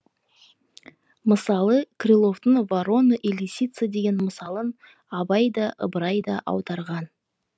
мысалы крыловтың ворона и лисица деген мысалын абай да ыбырай да аударған